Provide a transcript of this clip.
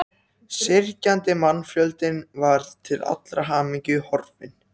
Syrgjandi mannfjöldinn var til allrar hamingju horfinn.